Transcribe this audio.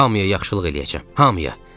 Hamıya yaxşılıq eləyəcəm, hamıya.